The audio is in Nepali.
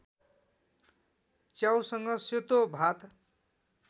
च्याउसँग सेतो भात